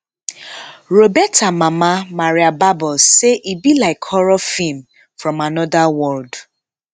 roberta mama maria barbos say e be like horror feem from anoda world